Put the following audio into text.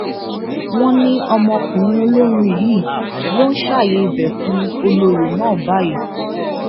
wọn ní ọmọkùnrin olórin yìí ló ń ṣààyè ibẹ fún olórí náà báyìí